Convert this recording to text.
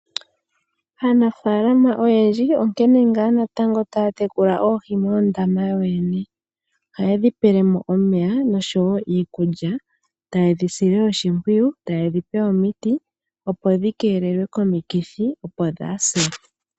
Aanafaalama oyendji onkene ngaa natango taya tekula oohi moondama yoyene, ohaye dhi pelemo omeya noshowo iikulya, tayedhi sile oshimpwiyu, taye dhi pe omiti opo dhi keelelwe komikithi opo dhaase.